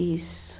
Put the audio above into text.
Isso.